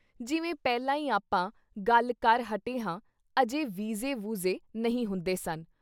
ਜਿਵੇਂ ਪਹਿਲਾਂ ਈ ਆਪਾਂ ਗੱਲ ਕਰ ਹਟੇ ਹਾਂ ਅਜੇ ਵੀਜ਼ੇ ਵੂਜ਼ੇ ਨਹੀਂ ਹੁੰਦੇ ਸਨ।